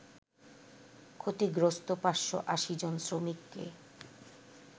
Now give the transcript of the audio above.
ক্ষতিগ্রস্ত ৫৮০ জন শ্রমিককে